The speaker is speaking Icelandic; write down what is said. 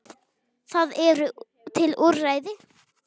Það eru til úrræði.